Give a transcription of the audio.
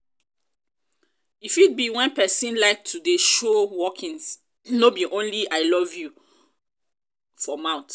e fit be when persin like to de show workings no be only i love only i love you for mouth